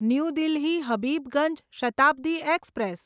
new Delhi Habibganj Shatabdi express